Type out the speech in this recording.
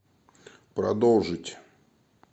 продолжить